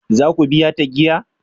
Za ku biya ta giya?